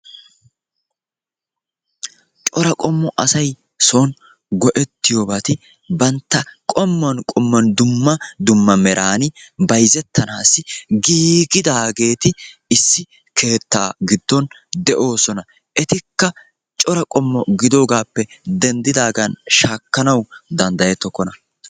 Cora qommo asay son go'ettiyobati bantta qommuwan qommuwan dumma dumma meran bsyzzettanaassi giiggidaageti issi keettaa giddon de'oosona. Etikka cora qommo giddoogaappe denddidaagan shaakkanawu danddayettokkona.